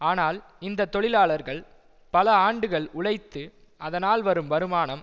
ஆனால் இந்த தொழிலாளர்கள் பல ஆண்டுகள் உழைத்து அதனால் வரும் வருமானம்